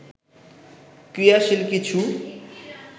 ক্রিয়াশীল কিছু